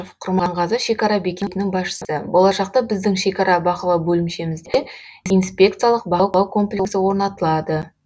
құрманғазы шекара бекетінің басшысы болашақта біздің шекара бақылау бөлімшемізде инспекциялық бақылау комплексі орнатылады